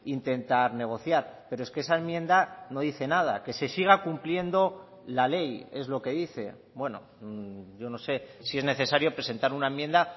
intentar negociar pero es que esa enmienda no dice nada que se siga cumpliendo la ley es lo que dice bueno yo no sé si es necesario presentar una enmienda